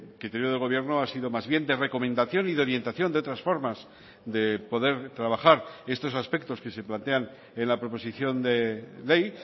criterio del gobierno ha sido más bien de recomendación y de orientación de otras formas de poder trabajar estos aspectos que se plantean en la proposición de ley